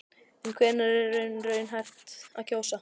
En hvenær er í raun raunhæft að kjósa?